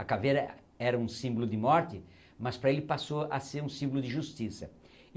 A caveira era um símbolo de morte, mas para ele passou a ser um símbolo de justiça.